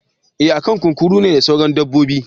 Eh akan kunkuru ne da sauran dabbobin.